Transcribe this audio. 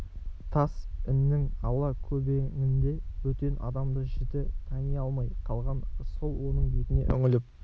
тас іннің ала-көбеңінде бөтен адамды жіті тани алмай қалған рысқұл оның бетіне үңіліп